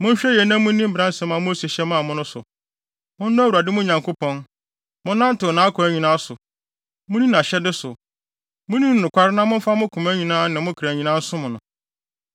Monhwɛ yiye na munni mmara a Mose hyɛ maa mo no so. Monnɔ Awurade, mo Nyankopɔn. Monnantew nʼakwan nyinaa so, munni nʼahyɛde so, munni no nokware na momfa mo koma nyinaa ne mo kra nyinaa nsom no.”